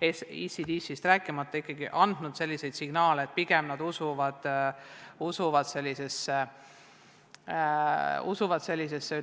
ECDC-st rääkimata, andnud juba signaale, et nad pigem usuvad sellesse.